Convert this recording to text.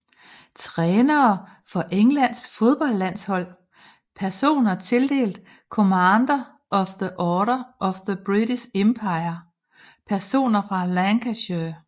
Trænere for Englands fodboldlandshold Personer tildelt Commander of the Order of the British Empire Personer fra Lancashire